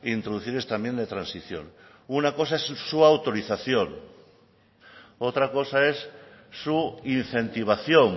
introducir esta enmienda de transición una cosa es su autorización otra cosa es su incentivación